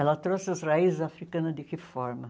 Ela trouxe as raízes africanas de que forma?